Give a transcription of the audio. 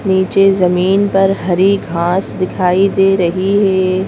नीचे जमीन पर हरी घास दिखाई दे रही है।